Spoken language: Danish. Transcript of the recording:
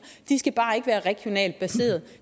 de skal bare ikke være regionalt baseret